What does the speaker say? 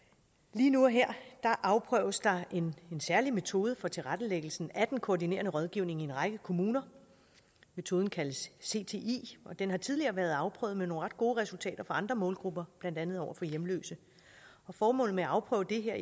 lige nu og her afprøves der en særlig metode for tilrettelæggelsen af den koordinerende rådgivning i en række kommuner metoden kaldes cti og den har tidligere været afprøvet med nogle ret gode resultater over for andre målgrupper blandt andet over for hjemløse formålet med at afprøve det her